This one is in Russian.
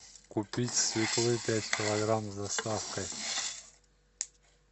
купить свеклы пять килограмм с доставкой